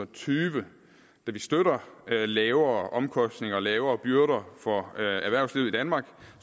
tyve da vi støtter lavere omkostninger og lavere byrder for erhvervslivet i danmark